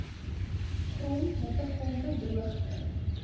grond hittegolwe droogte